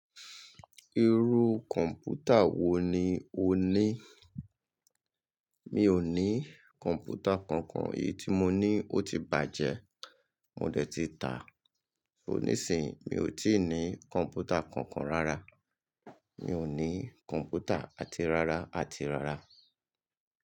Irú kọ̀mpútà wo ni o ní? Mi ò ní kọ̀mpútà kankan, èyí tí mo ní ó ti bàjẹ́, mo dẹ̀ ti ta. So níìsínyi mi ò tí ì ní kọ̀mpútà kankan rárá. Mi ò ní kọ̀ǹpútà àti rárá, àti rárá.